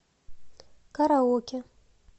караоке